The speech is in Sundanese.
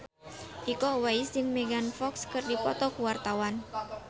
Iko Uwais jeung Megan Fox keur dipoto ku wartawan